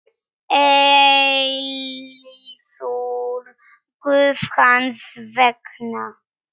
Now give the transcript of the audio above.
eilífur Guð hans vegna.